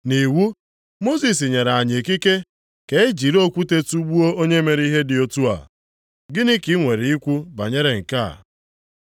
Nʼiwu, Mosis nyere anyị ikike ka e jiri okwute tugbuo onye mere ihe dị otu a. Gịnị ka i nwere ikwu banyere nke a?”